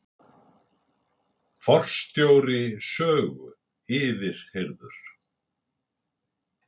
Forstjóri Sögu yfirheyrður